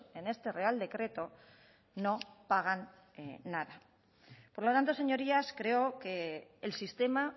en este real decreto no pagan nada por lo tanto señorías creo que el sistema